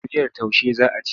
Da miyar taushe za a ci.